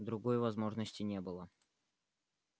другой возможности не было